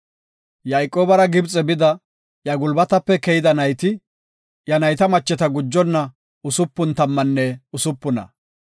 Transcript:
Yayqoobara Gibxe bida, iya gulbatape keyida nayti, iya nayta macheta gujonna usupun tammanne usupuna.